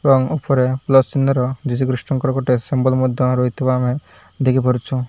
ଏବଂ ଉପରେ ପ୍ଲସ୍ ଚିହ୍ନର ଯୀଶୁଖ୍ରୀଷ୍ଟଙ୍କର ଗୋଟେ ସିମ୍ବଲ୍ ମଧ୍ୟ ରହିଥିବା ଆମେ ଦେଖି ପାରୁଛୁ।